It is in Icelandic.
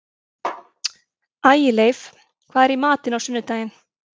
Ægileif, hvað er í matinn á sunnudaginn?